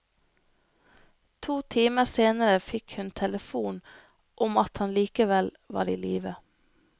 To timer senere fikk hun telefon om at han likevel var i live.